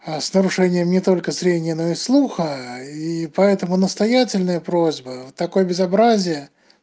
а с нарушением не только зрения но и слуха и поэтому настоятельная просьба такое безобразие